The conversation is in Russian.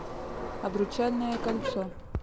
обручальное кольцо